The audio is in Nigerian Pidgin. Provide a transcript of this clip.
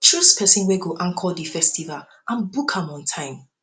choose persin wey go anchor di festival and book am on time